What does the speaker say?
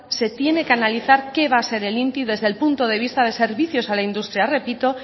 se tiene que analizar qué va a ser el inti desde el punto de vista de servicios a la industria repito